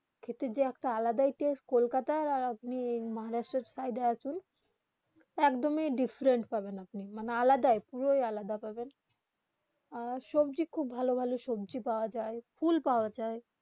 কেটে যে আলাদা টষ্টে কলকাতা আর আপনি মহারাষ্ট্র সাইড আসুন একদম ডিফারেরেন্ট পাবে আপনি আলাদা মানে পুরো আলাদা পাবেন আপনি সবজি খুব ভালো ভালো সবজি পৰা যায় ফুল পৰা যায়